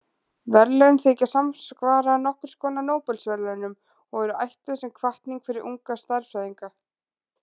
Verðlaunin þykja samsvara nokkurs konar Nóbelsverðlaunum og eru ætluð sem hvatning fyrir unga stærðfræðinga.